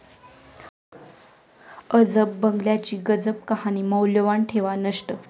अजब बंगल्याची गजब कहाणी, मौल्यवान ठेवा नष्ट!